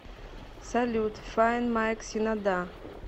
салют файн майк шинода